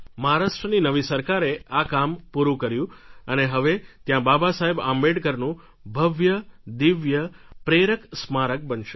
મહારાષ્ટ્રની નવી સરકારે આ કામ પુરું કર્યું અને હવે ત્યાં બાબાસાહેબ આંબેડકરનું ભવ્ય દિવ્ય પ્રેરક સ્મારક બનશે